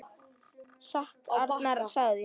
Satt sem Arnar sagði.